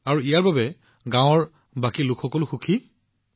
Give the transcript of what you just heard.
আৰু ইয়াৰ বাবে গাঁৱৰ বাকী লোকসকলো সুখী